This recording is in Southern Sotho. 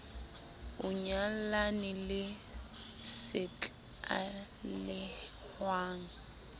o nyallane le se tlalehwang